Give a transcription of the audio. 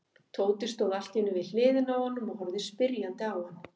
Tóti stóð allt í einu við hliðina á honum og horfði spyrjandi á hann.